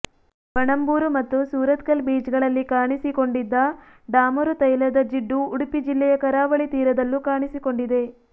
ಪಣಂಬೂರು ಮತ್ತು ಸುರತ್ಕಲ್ ಬೀಚ್ಗಳಲ್ಲಿ ಕಾಣಿಸಿಕೊಂಡಿದ್ದ ಡಾಮರುತೈಲದ ಜಿಡ್ಡು ಉಡುಪಿ ಜಿಲ್ಲೆಯ ಕರಾವಳಿ ತೀರದಲ್ಲೂ ಕಾಣಿಸಿಕೊಂಡಿದೆ